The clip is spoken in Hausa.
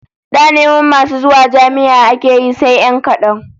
Da neman masu zuwa jami'a ake yi sai 'yan kadan